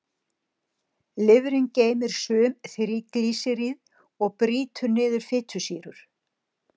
Lifrin geymir sum þríglýseríð og brýtur niður fitusýrur.